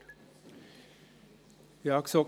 Kommissionspräsident der GSoK.